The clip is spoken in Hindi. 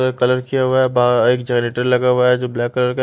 कलर किया हुआ है बा एक जनरेटर लगा हुआ है जो ब्लैक कलर का--